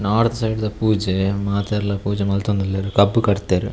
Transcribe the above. North side ದ ಪೂಜೆ ಮಾತೆರ್ಲ ಪೂಜೆ ಮಂತೊಂದುಲ್ಲೆರ್ ಕಬ್ಬ್ ಕಡ್ದೆರ್.